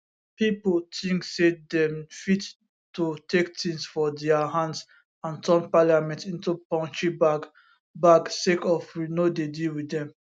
pipo tink say dem fit to take tins for dia hands and turn parliament into punching bag bag sake of we no dey deal wit dem